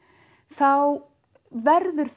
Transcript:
þá verður